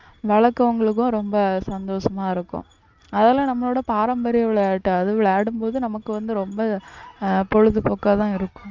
வளர்க்கிறவங்களுக்கும் ரொம்ப சந்தோஷமா இருக்கும் அதுல நம்மளோட பாரம்பரிய விளையாட்டு அது விளையாடும் போது நமக்கு வந்து ரொம்ப ஆஹ் பொழுதுபோக்காதான் இருக்கும்